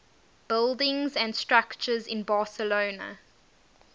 buildings and structures in barcelona